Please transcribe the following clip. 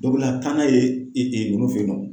Dɔ bɛna taa n'a ye ninnu fɛ yen nɔ.